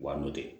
Wa n'o tɛ